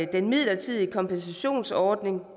den midlertidige kompensationsordning